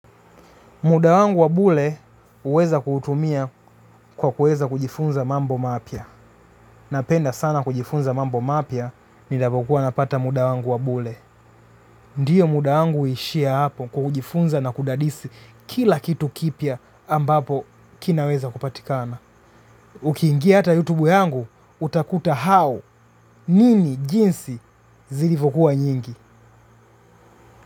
Muda wangu wabule uweza kutumia kwa kuweza kujifunza mambo mapia. Napenda sana kujifunza mambo mapia, nijapokuwa napata muda wangu wabule. Ndiyo muda wangu ishia hapo kujifunza na kudadisi kila kitu kipia ambapo kinaweza kupatikana. Ukiingia hata YouTube yangu, utakuta how, nini jinsi zilifokuwa nyingi.